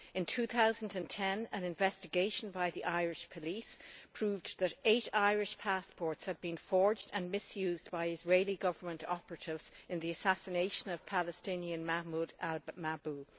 In 2010 an investigation by the Irish police proved that eight Irish passports had been forged and misused by Israeli Government operatives in the assassination of Palestinian Mahmoud al Mabhouh.